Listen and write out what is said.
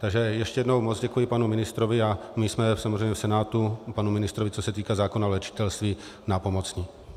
Takže ještě jednou moc děkuji panu ministrovi a my jsme samozřejmě v Senátu panu ministrovi, co se týče zákona o léčitelství, nápomocni.